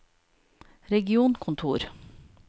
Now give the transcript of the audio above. regionkontor